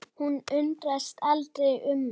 Hún undrast aldrei um mig.